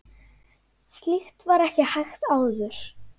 Slíkt var ekki hægt áður.